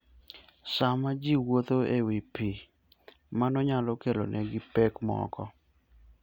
Sama ji wuotho e wi pe, mano nyalo kelonegi pek moko.